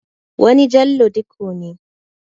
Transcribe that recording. Wani Jallo Dikko ne.